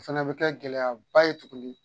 O fɛnɛ bɛ kɛ gɛlɛyaba ye tuguni.